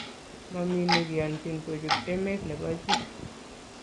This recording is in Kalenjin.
mami nikianchin kochut emet nebo jii